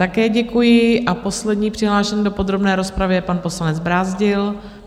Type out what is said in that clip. Také děkuji a poslední přihlášený do podrobné rozpravy je pan poslanec Brázdil.